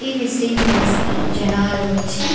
ఈ visiting place కి జనాలు వచ్చి --.>